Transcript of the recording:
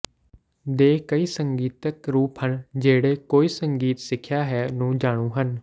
ਦੇ ਕਈ ਸੰਗੀਤਕ ਰੂਪ ਹਨ ਜਿਹੜੇ ਕੋਈ ਸੰਗੀਤ ਸਿੱਖਿਆ ਹੈ ਨੂੰ ਜਾਣੂ ਹਨ